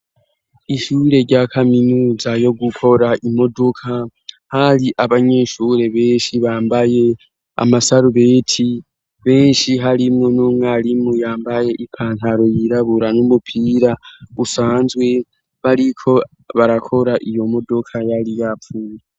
Ishure rya kaminuza yo gukora imodoka, hari abanyeshure benshi bambaye amasarubeti benshi harimwo n'umwarimu yambaye ipantaro yirabura n'umupira usanzwe bariko barakora iyo modoka yari yapfuye.